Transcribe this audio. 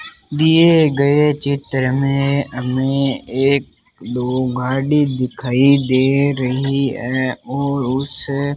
दिए गए चित्र में हमें एक दो घड़ी दिखाई दे रही है और उसे --